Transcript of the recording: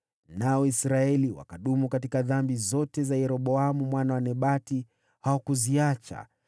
Nao Israeli wakadumu katika dhambi zote za Yeroboamu mwana wa Nebati, nao hawakuziacha